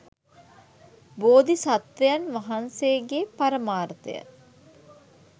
බෝධි සත්වයන් වහන්සේගේ පරමාර්ථය